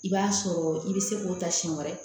I b'a sɔrɔ i bɛ se k'o ta siɲɛ wɛrɛ